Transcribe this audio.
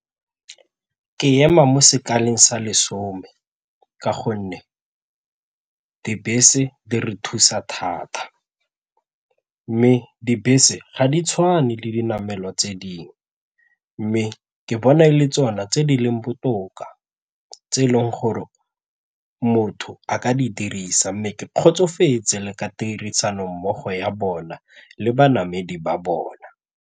Ke ema mo sekalong sa lesome ka gonne dibese di re thusa thata mme dibese ga di tshwane le dinamelwa tse dingwe mme ke bona e le tsona tse di leng botoka tse e leng gore motho a ka di dirisa mme ke kgotsofetse ka tirisanommogo ya bona le banamedi ba bona.